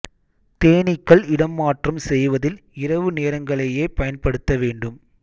தேனீக்கள் இடம் மாற்றம் செய்வதில் இரவு நேரங்களையேப் பயன்படுத்த வேண்டும்